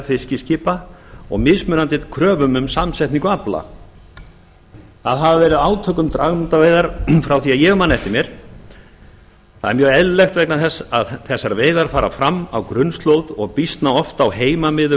fiskiskipa og mismunandi kröfum um samsetningu afla það hafa verið átök um dragnótaveiðar frá því ég man eftir mér það er mjög eðlilegt vegna þess að þessar veiðar fara fram á grunnslóð og býsna oft á heimamiðum